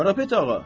Qarapet ağa,